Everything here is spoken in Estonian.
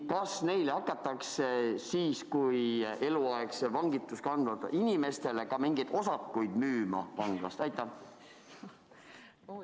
Ja kas neile hakatakse siis kui eluaegset vangistust kandvatele inimestele mingeid vanglaosakuid müüma?